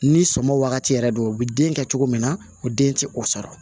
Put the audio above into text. Ni sɔmɔ wagati yɛrɛ don o bɛ den kɛ cogo min na o den tɛ o sɔrɔ